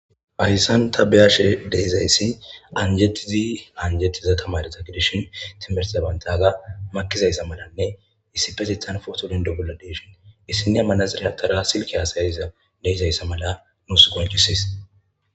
hayssan tabeyashe deyizayssi anjetizi anjettiza tamareta gidishin timerizabantaga makizayssa malanne issi petithan footolin dogola deshin issine amanazirehatara silke haasayiza deizayssa mala nus goncisis